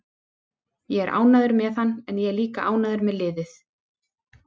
Ég er ánægður með hann en ég er líka ánægður með liðið.